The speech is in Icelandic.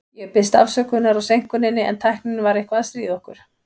Ég biðst afsökunar á seinkuninni, en tæknin var eitthvað að stríða okkur.